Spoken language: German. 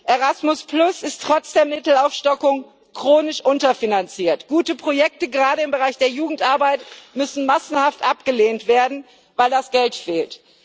Erasmus ist trotz der Mittelaufstockung chronisch unterfinanziert, gute Projekte gerade im Bereich der Jugendarbeit müssen massenhaft abgelehnt werden, weil das Geld fehlt.